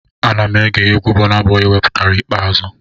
Ana m ege egwu Bọna Bọi wepụtara ikpeazụ